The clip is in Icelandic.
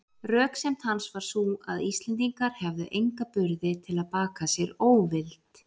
Röksemd hans var sú, að Íslendingar hefðu enga burði til að baka sér óvild